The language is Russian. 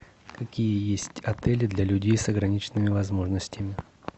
какие есть отели для людей с ограниченными возможностями